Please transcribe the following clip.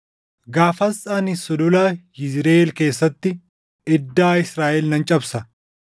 Gaafas ani Sulula Yizriʼeel keessatti iddaa Israaʼel nan cabsa.”